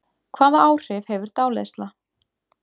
Hvaða áhrif hefur dáleiðsla?